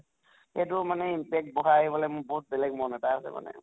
এইটো মানে impact বঢ়াই পালে মোৰ বহুত বেলেগ মন এটা আছে মানে